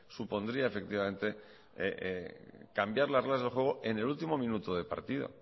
supondría efectivamente cambiar las reglas de juego en el último minuto de partido